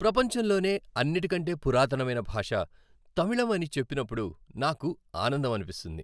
ప్రపంచంలోనే అన్నిటికంటే పురాతనమైన భాష తమిళం అని చెప్పినప్పుడు నాకు ఆనందం అనిపిస్తుంది.